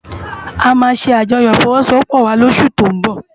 Amá sé ájòyò ifòwòsôwòpò wá lósú tó n bò